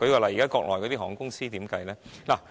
例如國內的航空公司要怎樣計算呢？